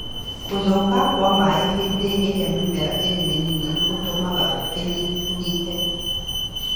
Gũthuthĩka kwa maĩ hĩndĩ ĩrĩa mĩmera ĩrĩ mĩnini nĩ gũtũmaga ĩnyihanyihe